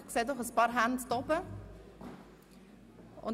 – Ich sehe doch ein paar erhobene Hände.